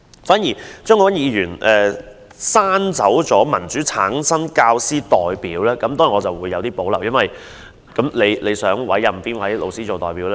張國鈞議員刪去"以民主方式產生教師代表"，當然我對此有保留，他想委任哪位老師做代表？